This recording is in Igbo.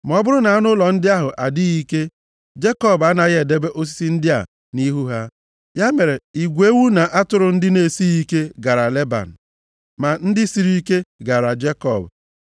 Ma ọ bụrụ na anụ ụlọ ndị ahụ adịghị ike, Jekọb anaghị edebe osisi ndị a nʼihu ha. Ya mere, igwe ewu na atụrụ ndị na-esighị ike gaara Leban. Ma ndị siri ike gaara Jekọb.